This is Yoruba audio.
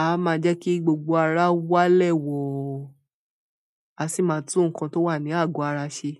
A máa jẹ́ kí gbogbo ara walẹ́ wọ̀ ọ́, a sì máa tú nǹkan tó wà ní àgọ̀ ara ṣe.